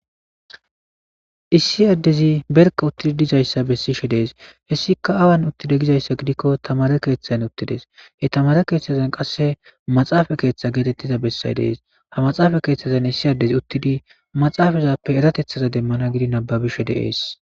issi addezi berka uttidi dizayssa bessishe dees hessika awan uttida gizayssa gidikko tamare keeththazn uttides he tamare keeththazan qasse maxaafa keeththa geetettiza bessay dees ha maxaafa keeththazan issi addezi uttidi maxaafazappe eratethaza demmana gidi nababishe deees